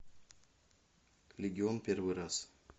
легион первый раз